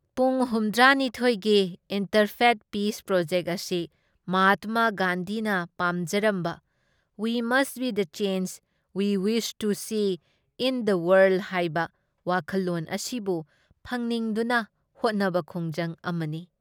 ꯄꯨꯡ ꯍꯨꯝꯊ꯭ꯔꯥ ꯅꯤꯊꯣꯏ ꯒꯤ ꯏꯟꯇꯔꯐꯦꯊ ꯄꯤꯁ ꯄ꯭ꯔꯣꯖꯦꯛꯠ ꯑꯁꯤ ꯃꯍꯥꯇꯃꯥ ꯒꯥꯟꯙꯤꯅ ꯄꯥꯝꯖꯔꯝꯕ " we must be the change we wish to see in the world " ꯍꯥꯏꯕ ꯋꯥꯈꯜꯂꯣꯟ ꯑꯁꯤꯕꯨ ꯐꯪꯅꯤꯡꯗꯨꯅ ꯍꯣꯠꯅꯕ ꯈꯣꯡꯖꯪ ꯑꯃꯅꯤ ꯫